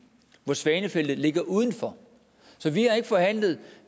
hvor svanefeltet ligger udenfor så vi har ikke forhandlet